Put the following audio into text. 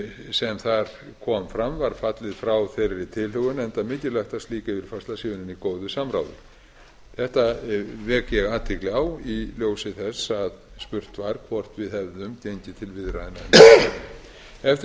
sem þar kom fram var fallið frá þeirri tilhögun enda mikilvægt að slík yfirfærsla sé unnin í góðu samráði þessu vek ég athygli á í ljósi þess að spurt var hvort við hefðum gengið til viðræðna eftir